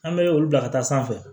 An bɛ olu bila ka taa sanfɛ